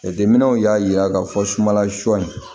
Jateminɛw y'a jira k'a fɔ sumanla sɔ in